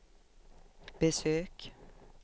besök